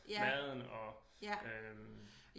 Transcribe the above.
Maden og øh